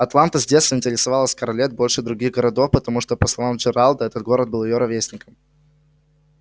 атланта с детства интересовала скарлетт больше других городов потому что по словам джералда этот город был её ровесником